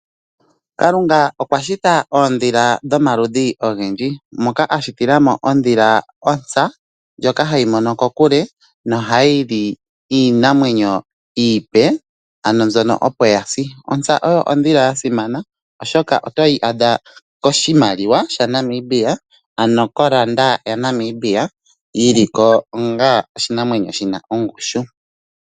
Kalunga okwa shita oondhila dhomaludhi ogendji moka ashitilamo ondhila ontsa. Ndjoka hayi mono kokule nohayi li iinamwenyo iipe ano mbyono opo ya si. Ontsa oyo ondhila ya simana oshoka oto yi adha koshimaliwa sha Namibia, ano ko landa ya Namibia, yi li ko onga oshinamwenyo shina ongushu.